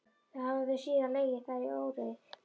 Hafa þau síðan legið þar í óreiðu.